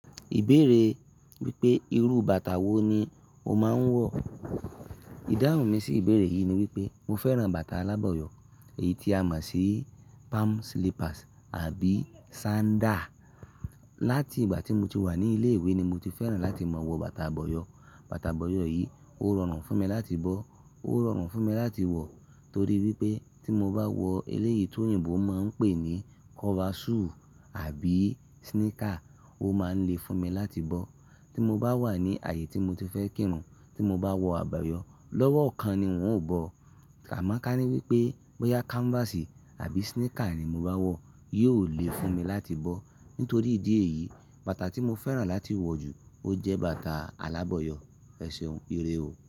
Ìbéèrè wípé irú bàtà wo ni ó máa ń wọ̀? Ìdáhùn mi sí ìbéèrè yìí ni wípé mo fẹ́ràn bàtà alábọ̀yọ̀ èyí tí a mọ̀ sí palm slippers àbí sandal. Lati ìgbà tí mo ti wà ní ilé ìwé ni mo ti fẹ́ràn láti máa wọ bàtà abọ̀yọ̀. Bàtà abọ̀yọ̀ yìí ó rọrùn fún mi láti bọ́, ó rọrùn fún mi láti wọ̀ torí wípé tí mo bá wọ eléyìí tí òyìnbó máa ń pè ní cover shoe àbí sneaker, ó máa ń le fún mi láti bọ́. Tí mo bá wà ní ààyè tí mo ti fẹ́ kírun, tí mo bá wọ àbàyọ̀ lọ́wọ́ kan ni n óò bọ̀. Àmọ́ ká ní wípé bóyá canvas àbí sneaker ni mo bá wọ̀ yóò le fún mi láti bọ́. Nítorí ìdí èyí, bàtà tí mo fẹ́ràn láti wọ̀ jù ó jẹ́ bàtà alábọ̀yọ̀. Ẹ̀ṣeun irè ó.